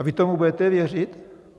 A vy tomu budete věřit?